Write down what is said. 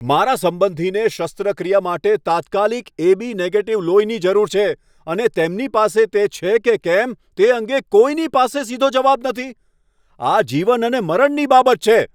મારા સંબંધીને શસ્ત્રક્રિયા માટે તાત્કાલિક એ.બી. નેગેટીવ લોહીની જરૂર છે, અને તેમની પાસે તે છે કે કેમ તે અંગે કોઈની પાસે સીધો જવાબ નથી. આ જીવન અને મરણની બાબત છે!